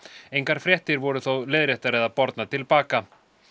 engar fréttir voru þó leiðréttar eða bornar til baka